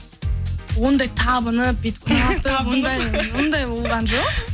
ондай табынып бүйтіп ұнатып ондай ондай болған жоқ